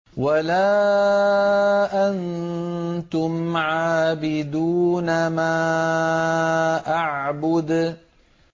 وَلَا أَنتُمْ عَابِدُونَ مَا أَعْبُدُ